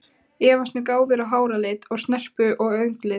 Efast um gáfur og háralit og snerpu og augnlit.